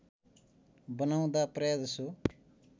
बनाउँदा प्रायजसो